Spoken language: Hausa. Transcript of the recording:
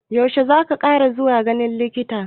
Yaushe zaki kara zuwa ganin likitan?